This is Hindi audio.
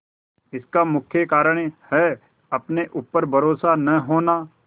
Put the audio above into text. इसका मुख्य कारण है अपने ऊपर भरोसा न होना